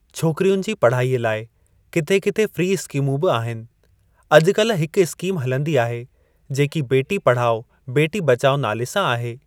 छोकिरियुनि जी पढ़ाईअ लाइ किथे किथे फ़्री स्किमूं बि आहिनि अॼुकल्ह हिक स्कीम हलंदी आहे जेकी बेटी पढ़ाओ बेटी बचाओ नाले सां आहे।